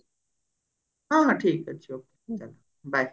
ହଁ ହଁ ଠିକ ଅଛି okay ଚାଲ bye